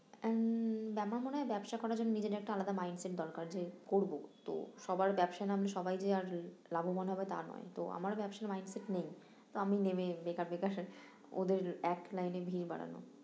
উম আমার মনে হয় ব্যবসা করার জন্য নিজের একটা আলাদা mind set দরকার যে করবো তো সবার ব্যাবসায় নামলে সবাই যে আর লাভবান হবে তা নয় তো ব্যাবসার mind set নেই তো আমি নেবেই বেকার বেকার ওদের এক লাইনে ভিড় বাড়ানো